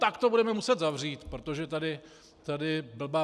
Tak to budeme muset zavřít, protože tady blbá